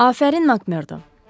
Afərin Makmerdo,